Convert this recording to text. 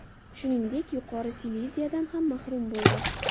Shuningdek, Yuqori Sileziyadan ham mahrum bo‘ldi.